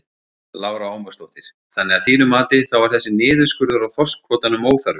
Lára Ómarsdóttir: Þannig að þínu mati þá var þessi niðurskurður á þorskkvótanum óþarfi?